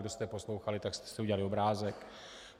Kdo jste poslouchali, tak jste si udělali obrázek.